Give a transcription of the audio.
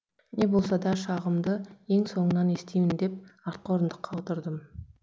не болса да шағымды ең соңынан естиін деп артқы орындыққа отырдым